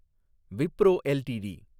Wipro LTD